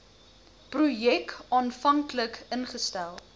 projek aanvanklik ingestel